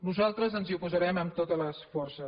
nosaltres ens hi oposarem amb totes les forces